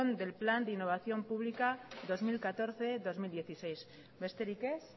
del plan de innovación pública dos mil catorce dos mil dieciséis besterik ez